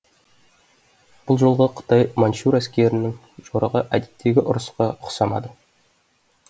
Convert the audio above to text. бұл жолғы қытай манчжур әскерінің жорығы әдеттегі ұрысқа ұқсамады